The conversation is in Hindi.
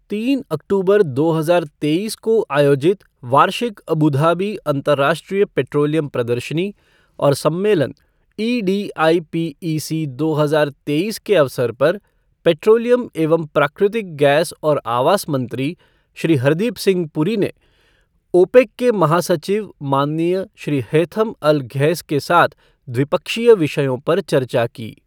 तीन अक्टूबर दो हजार तेईस को आयोजित वार्षिक अबू धाबी अंतर्राष्ट्रीय पेट्रोलियम प्रदर्शनी और सम्मेलन एडीआईपीईसी दो हजार तेईस के अवसर पर पेट्रोलियम एवं प्राकृतिक गैस और आवास मंत्री, श्री हरदीप सिंह पुरी ने ओपेक के महासचिव, माननीय श्री हैथम अल घैस के साथ द्विपक्षीय विषयों पर चर्चा की।